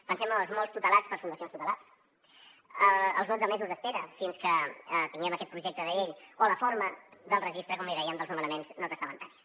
pensem en els molts tutelats per fundacions tutelars els dotze mesos d’espera fins que tinguem aquest projecte de llei o la forma del registre com li dèiem dels nomenaments no testamentaris